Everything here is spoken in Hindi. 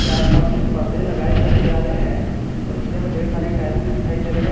आस पास कुछ पर्दे लगाए हुए नजर आ रहे हैं और नीचे में ढेर सारी टाइलसे दिखाई दे रहे हैं।